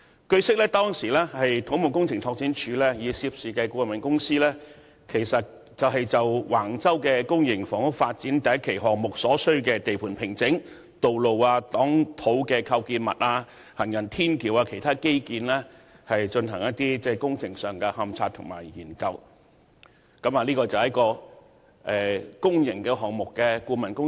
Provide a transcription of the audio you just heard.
據悉，當時土木工程拓展署曾與涉事的顧問公司，就橫洲公營房屋發展的第1期項目所需的地盤平整、道路、擋土構建物和行人天橋等其他基建工程進行勘察和研究，這是公營項目的顧問工作。